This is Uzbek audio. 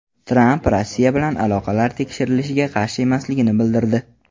Tramp Rossiya bilan aloqalari tekshirilishiga qarshi emasligini bildirdi.